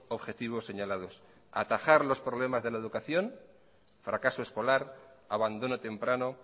objetivos señalados atajar los problemas de la educación fracaso escolar abandono temprano